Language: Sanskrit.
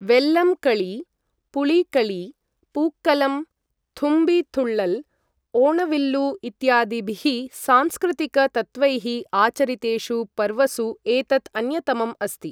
वेल्लम् कळी, पुळिकळी, पूक्कलम्, थुम्बी थुळ्ळल्, ओणविल्लु इत्यादिभिः सांस्कृतिक तत्त्वैः आचरितेषु पर्वसु एतत् अन्यतमम् अस्ति।